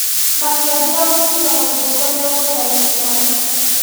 Makĩambia gũtiga guthiĩ kũrĩ o gũcaria kĩhonia